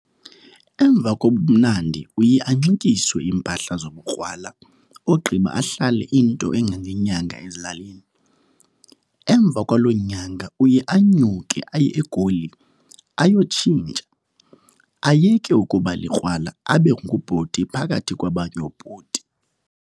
Emva kobobumnandi uye anxityiswe iimpahla zobukrwala ogqiba ahlale into engangenyanga ezilalini. Emva kwalo nyanga uye anyuke aye eGoli ayokutshintsha, ayeke ukuba likrwala abe ngubhuti phakathi kwabanye oobhuti.